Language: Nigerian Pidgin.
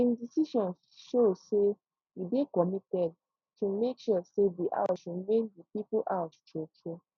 im decision show say e dey committed to make sure say di house remain di pipo house true true